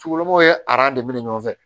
Sukulon ye aran de minɛ ɲɔgɔn fɛ